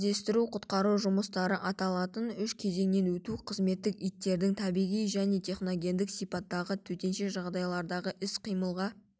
іздестіру-құтқару жұмыстары аталатын үш кезеңінен өту қызметтік иттердің табиғи және техногендік сипаттағы төтенше жағдайлардағы іс-қимылға